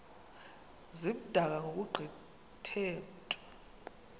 zimdaka ngokugqithe mntu